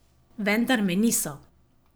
Vendar me niso.